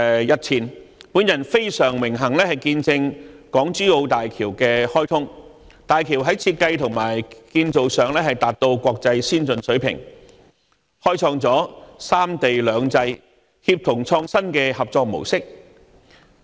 日前，我很榮幸見證港珠澳大橋的開通，大橋在設計和建造上達到國際先進水平，開創了三地兩制、協同創新的合作模式。